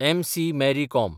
MC. Mary com